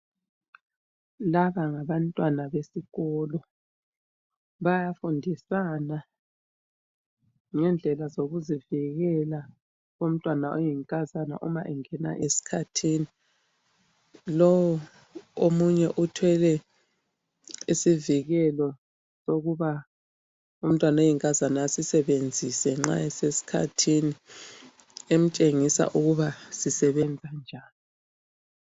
Laba ngabantwana besikolo bayafundisana ngendlela zokuzivikela komntwana oyinkazana uma engena esikhathini. Lowo omunye uthwele isivikelo sokuba umntwana oyinkazana asisebenzise nxa esesikhathini emtshengisa ukuba sisebenza njani.